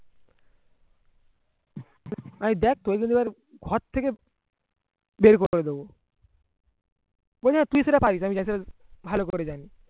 ওই দেখ ঘর থেকে বের করে দিব তুই সেটা পারিস আমি ভালো করে জানি